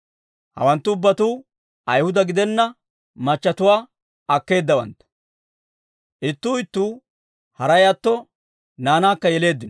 Hawanttu ubbatuu Ayhuda gidenna machchetuwaa akkeedawantta. Ittuu ittuu haray atto naanaakka yeleeddino.